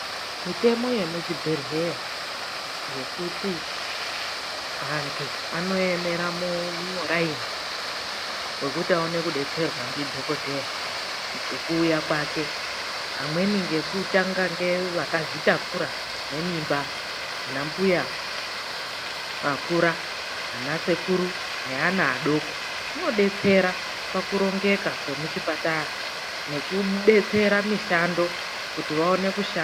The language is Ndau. Mitemo yemuchibhedhlera yekuti vantu vanoemera muraini wekuti vawane kudetserwa ndidhokodheya ngekuuya kwake vamweni veyitanga ngevakazvitakura nemimba vana mbuya vakura anasekuru, neana vadoko kunodetsera pakurongeka kwemuchipatara nekudetsera mishando kuti vaone kushaa.